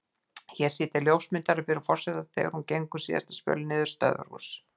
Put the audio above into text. Hér sitja ljósmyndarar fyrir forseta þegar hún gengur síðasta spölinn niður í stöðvarhús.